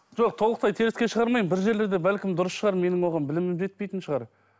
жоқ толықтай теріске шығармаймын бір жерлерде бәлкім дұрыс шығар менің оған білімім жетпейтін шығар